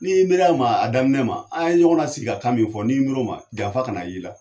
Ni ye miiri ma a daminɛ ma an ye ɲɔgɔn la sigi ka kan min fɔ ni y'i miir'o ma janfa kana y' i la